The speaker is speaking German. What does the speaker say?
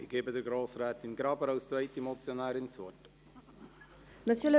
Ich gebe Grossrätin Graber als zweite Motionärin das Wort.